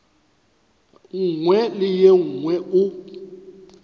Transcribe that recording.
nngwe le ye nngwe o